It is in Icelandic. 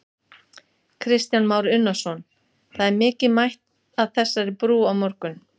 Kristján Már Unnarsson: Það er mikið mætt að þessari brú í morgun?